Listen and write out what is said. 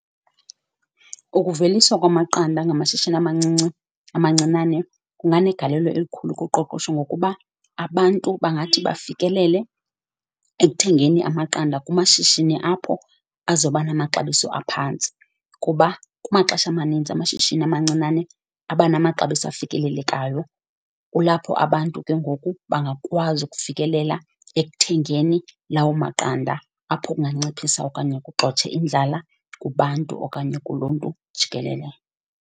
Ukuveliswa kwamaqanda ngamashishini amancinci, amancinane kunanegalelo elikhulu kuqoqosho ngokuba abantu bangathi bafikelele ekuthengeni amaqanda kumashishini apho azoba namaxabiso aphantsi, kuba kumaxesha amanintsi amashishini amancinane abanamaxabiso afikelelekayo. Kulapho abantu ke ngoku bangakwazi ukufikelela ekuthengeni lawo maqanda, apho kunganciphisa okanye kugxothe indlala kubantu okanye kuluntu jikelele